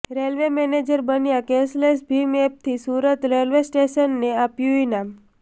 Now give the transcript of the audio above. railway manager બન્યા cashless ભીમ એપથી સુરત રેલવે સ્ટેશનને આપ્યું ઈનામ